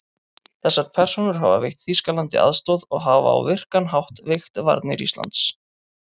Þessar persónur hafa veitt Þýskalandi aðstoð og hafa á virkan hátt veikt varnir Íslands.